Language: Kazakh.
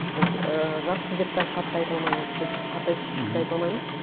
біз ыыы жаспыз деп те қатты айта алмаймыз біз қартайдық деп те айта алмаймыз